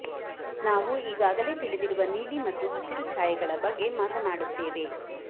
ನಾವು ಈಗಾಗಲೇ ತಿಳಿದಿರುವ ನೀಲಿ ಮತ್ತು ಹಸಿರು ಛಾಯೆಗಳ ಬಗ್ಗೆ ಮಾತನಾಡುತ್ತೇವೆ